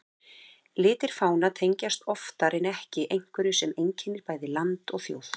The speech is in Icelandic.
Litir fána tengjast oftar en ekki einhverju sem einkennir bæði land og þjóð.